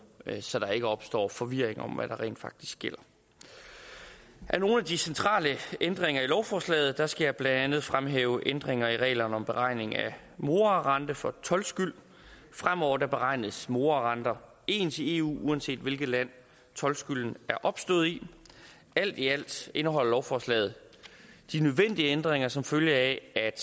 så der ikke opstår forvirring om hvad der rent faktisk gælder af nogle af de centrale ændringer i lovforslaget skal jeg blandt andet fremhæve ændringer af reglerne om beregning af morarenter for toldskyld fremover beregnes morarenter ens i eu uanset hvilket land toldskylden er opstået i alt i alt indeholder lovforslaget de nødvendige ændringer som følge af at